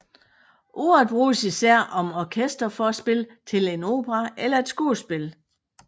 Ordet bruges især om orkesterforspil til en opera eller et skuespil